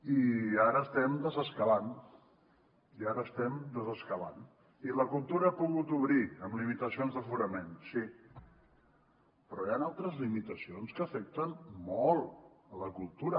i ara estem desescalant i ara estem desescalant i la cultura ha pogut obrir amb limitacions d’aforament sí però hi han altres limitacions que afecten molt la cultura